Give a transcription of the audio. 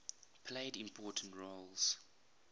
played important roles